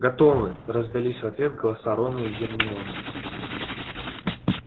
готовы раздались в ответ голоса рона и гермионы